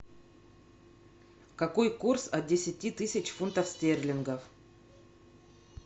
какой курс от десяти тысяч фунтов стерлингов